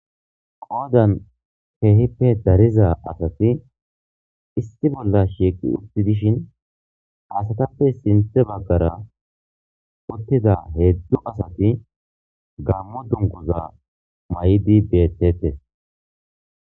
qoodan keehippe dariza asati issi bolla shiiqi utti dishin asatappe sinthe baggara uttida heedzdzu asati gammo dunguza maydi bettettes